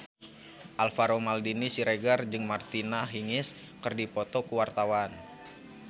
Alvaro Maldini Siregar jeung Martina Hingis keur dipoto ku wartawan